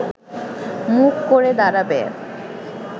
মুখ করে দাঁড়াবে